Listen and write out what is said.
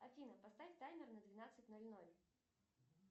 афина поставь таймер на двенадцать ноль ноль